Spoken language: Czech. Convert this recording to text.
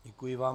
Děkuji vám.